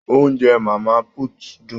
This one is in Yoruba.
Oúnjẹ mama put dun.